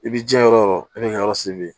I b'i jiɲɛ yɔrɔ o yɔrɔ i b'i ka yɔrɔ siri